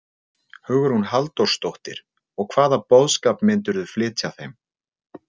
Hugrún Halldórsdóttir: Og hvaða boðskap myndirðu flytja þeim?